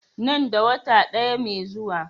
Nan da wata ɗaya mai zuwa.